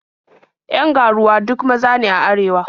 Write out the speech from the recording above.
Yan ga-ruwa duk maza ne a arewa.